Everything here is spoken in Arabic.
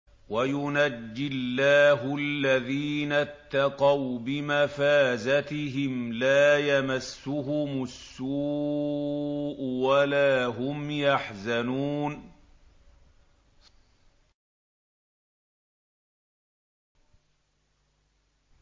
وَيُنَجِّي اللَّهُ الَّذِينَ اتَّقَوْا بِمَفَازَتِهِمْ لَا يَمَسُّهُمُ السُّوءُ وَلَا هُمْ يَحْزَنُونَ